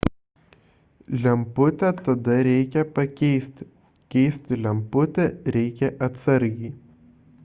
lemputę tada reikia pakeisti keisti lemputę reikia atsargiai